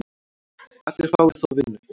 Allir fái þó vinnu.